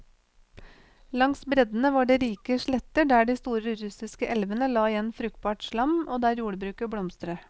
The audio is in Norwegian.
Langs breddene var det rike sletter der de store russiske elvene la igjen fruktbart slam, og der jordbruket blomstret.